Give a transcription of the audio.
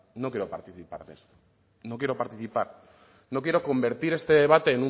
no quiero participar en esto no quiero participar no quiero convertir este debate